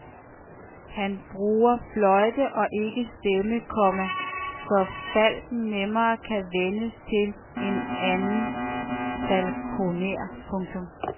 Han bruger fløjte og ikke stemme, komma så falken nemmere kan vænnes til en anden falkoner. punktum